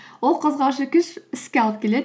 ол қозғаушы күш іске алып келеді